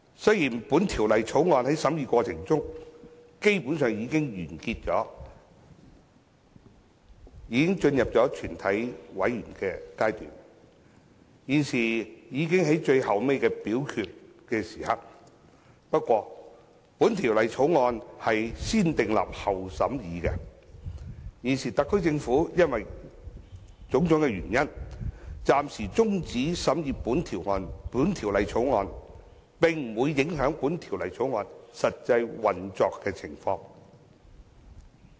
雖然《條例草案》的審議過程基本上已經完結，進入了全體委員會審議階段，已快到最後的表決階段，但《條例草案》為"先訂立後審議"的法案，現時特區政府因為種種原因，暫時中止審議《條例草案》，並不會影響《條例草案》的實際運作情況。